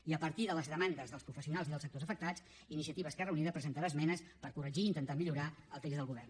i a partir de les demandes dels professionals i dels sectors afectats iniciativa esquerra unida presentarà esmenes per corregir i intentar millorar el text del govern